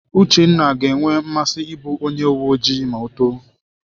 Uchenna ga-enwe nmasị ịbụ onye uwe ojii ma o too.